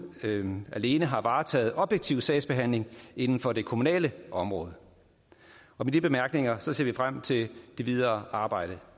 alene har varetaget objektiv sagsbehandling inden for det kommunale område med de bemærkninger ser vi frem til det videre arbejde